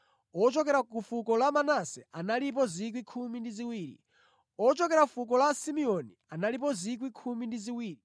ochokera fuko la Simeoni analipo 12,000; ochokera fuko la Levi analipo 12,000; ochokera fuko la Isakara analipo 12,000;